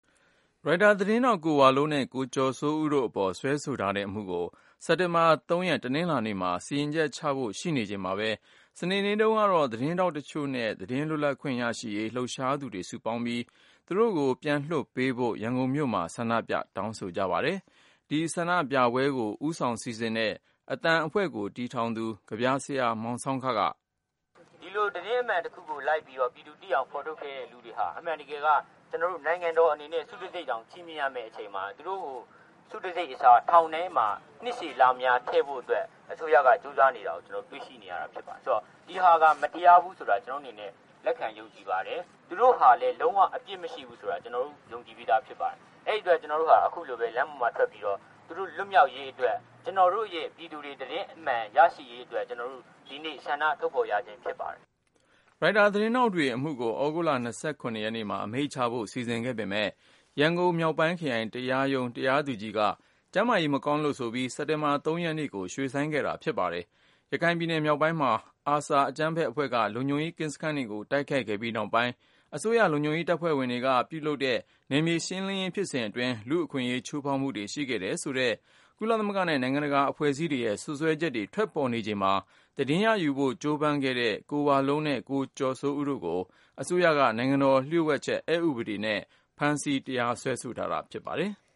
ရိုက်တာ သတင်းထောက် ကိုဝလုံးနဲ့ ကိုကျော်စိုးဦးတို့အပေါ် စွဲဆိုထားတဲ့အမှုကို စက်တင်ဘာ ရက် တနင်္လာနေ့မှာ စီရင်ချက်ချဖို့ရှိနေချိန်မှာပဲ စနေနေ့တုန်းကတော့ သတင်းထောက်တချို့နဲ့ သတင်း လွတ်လပ်ခွင့်ရရှိရေး လှုပ်ရှားသူတွေစုပေါင်းပြီး သူတို့ကို ပြန်လွှတ်ပေးဖို့ ရန်ကုန်မြို့မှာ ဆန္ဒပြတောင်းဆို ကြပါတယ်။ ကိုဉာဏ်ဝင်းအောင်က တင်ပြပေးထားပါတယ်။ ဒီဆန္ဒပြပွဲကို ဦးဆောင်စီစဉ်တဲ့ “အသံအဖွဲ့” ကို တည်ထောင်သူ ကဗျာဆရာ မောင်ဆောင်းခက - “ဒီလို သတင်းအမှန်တခုကိုလိုက်ပြီးတော့ ပြည်သူသိအောင် ဖော်ထုတ်ခဲ့တဲ့လူတွေဟာ အမှန် တကယ် က ကျနော်တို့နိုင်ငံတော်အနေနဲ့ ဆုတံဆိပ်တောင် ချီးမြှင့်ရမယ့်အချိန်မှာ သူတို့ကို ဆု တံဆိပ် အစား ထောင်ထဲမှာ နှစ်ရှည်လများထည့်ဖို့အတွက် အစိုးရက ကြိုးစားနေတာကို ကျနော်တို့ တွေ့ရှိနေရပါတယ်။..ဆိုတော့ ဒီဟာဟာ မတရားဘူးဆိုတာ ကျနော်တို့အနေနဲ့ လက်ခံယုံကြည်ပါ တယ်။ သူတို့ဟာလည်း လုံးဝ အပြစ်မရှိဘူးဆိုတာ ကျနော်တို့ ယုံကြည်ပြီးသားဖြစ်ပါတယ်။ အဲဒီ အတွက် ကျနော်တို့ဟာ အခုလို လမ်းပေါ်ထွက်ပြီးတော့ သူတို့လွတ်မြောက်ရေးအတွက် ကျနော် တို့ရဲ့ ပြည်သူတွေ သတင်းအမှန်ရရှိရေးအတွက် ကျနော်တို့ ဒီနေ့ဆန္ဒ ထုတ်ဖော်ရခြင်းဖြစ်ပါတယ်။” ရိုက်တာ သတင်းထောက်တွေအမှုကို သြဂုတ်လ ရက်နေ့မှာ အမိန့်ချဖို့ စီစဉ်ခဲ့ပေမယ့် ရန်ကုန် မြောက်ပိုင်းခရိုင်တရားရုံး တရားသူကြီးက ကျန်းမာရေး မကောင်းလို့ဆိုပြီး စက်တင်ဘာ ရက်နေ့ကို ရွှေ့ဆိုင်းခဲ့တာ ဖြစ်ပါတယ်။ ရခိုင်ပြည်နယ်မြောက်ပိုင်းမှာ ARSA အကြမ်းဖက်အဖွဲ့က လုံခြုံရေး ကင်းစခန်းတွေကို ဝင်တိုက်ခဲ့ပြီး နောက်ပိုင်း အစိုးရလုံခြုံရေးတပ်ဖွဲ့က ပြုလုပ်တဲ့ နယ်မြေရှင်းလင်းရေး ဖြစ်စဉ်အတွင်း လူ့အခွင့်အရေး ချိုးဖေါက်မှုတွေ ရှိခဲ့တယ်ဆိုတဲ့ ကုလသမဂ္ဂနဲ့ နိုင်ငံတကာ အဖွဲ့အစည်းတွေရဲ့ စွပ်စွဲချက်တွေ ထွက်ပေါ်နေချိန်မှာ သတင်းရယူဖို့ ကြိုးပမ်းခဲ့တဲ့ ကိုဝလုံးနဲ့ ကိုကျော်စိုးဦးတို့ကို အစိုးရက နိုင်ငံတော် လျှို့ဝှက်ချက် အက်ဥပဒေ နဲ့ ဖမ်းဆီ တရားစွဲဆိုထားတာ ဖြစ်ပါတယ်။